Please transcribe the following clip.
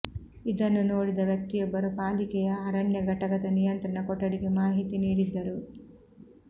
ಇದನ್ನು ನೋಡಿದ ವ್ಯಕ್ತಿಯೊಬ್ಬರು ಪಾಲಿಕೆಯ ಅರಣ್ಯ ಘಟಕದ ನಿಯಂತ್ರಣ ಕೊಠಡಿಗೆ ಮಾಹಿತಿ ನೀಡಿದ್ದರು